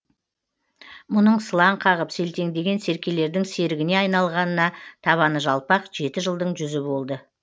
мұның сылаң қағып селтеңдеген серкелердің серігіне айналғанына табаны жалпақ жеті жылдың жүзі болды